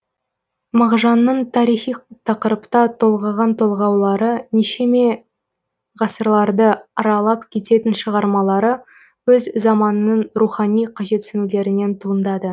мағжанның тарихи тақырыпта толғаған толғаулары нешеме ғасырларды аралап кететін шығармалары өз заманының рухани қажетсінулерінен туындады